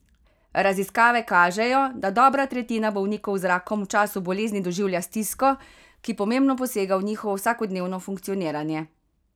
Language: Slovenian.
Raziskave kažejo, da dobra tretjina bolnikov z rakom v času bolezni doživlja stisko, ki pomembno posega v njihovo vsakodnevno funkcioniranje.